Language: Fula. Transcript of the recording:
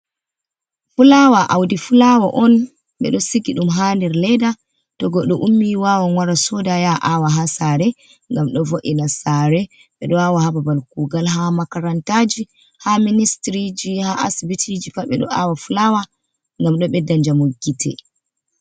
Fulawa audi fulawa on be do siki dum hader leda, to godo ummi wawa mara soda ya awa ha sare gam do vo’ina sare be do wawa hababal kugal ha makarantaji ha ministriji ha asibitiji pat be do awa fulawa gam do bedda jamo gite.